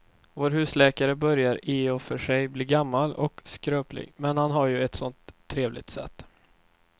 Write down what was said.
Vår husläkare börjar i och för sig bli gammal och skröplig, men han har ju ett sådant trevligt sätt!